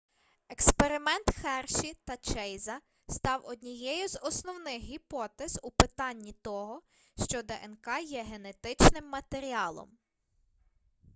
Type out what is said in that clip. експеримент херші та чейза став однією з основних гіпотез у питанні того що днк є генетичним матеріалом